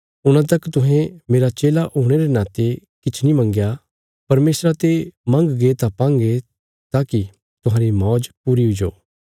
हूणा तक तुहें मेरा चेला हुणे रे नाते किछ नीं मंगया परमेशरा ते मंगगे तां पांगे ताकि तुहांरी मौज पूरी हुईजो